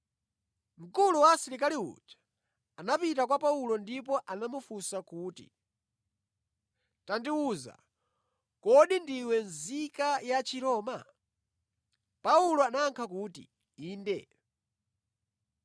Mkulu wa asilikali uja anapita kwa Paulo ndipo anamufunsa kuti, “Tandiwuze, kodi ndiwe nzika ya Chiroma?” Paulo anayankha kuti, “Inde.”